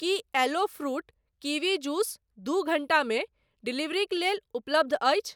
की aloe fruit kiwi juice दू घण्टामे डिलीवरीक लेल उपलब्ध अछि ?